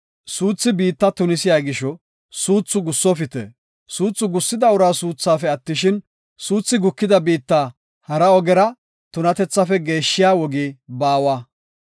Suuthi biitta tunisiya gisho suuthu gussofite. Suuthu gussida uraa suuthaafe attishin, suuthi gukida biitta hara ogera tunatethaafe geeshshiya wogi baawa.